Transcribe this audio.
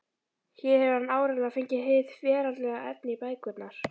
Hér hefur hann áreiðanlega fengið hið veraldlega efni í bækurnar.